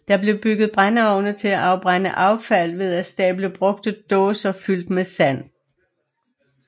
Der blev bygget brændeovne til at afbrænde affald ved at stable brugte dåser fyldt med sand